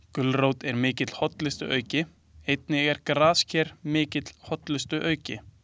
Gulrót er mikil hollustuauki, einnig er grasker mikill hollustuauki.